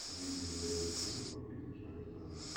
выведи мне варианты фильмов с актрисой шарлиз терон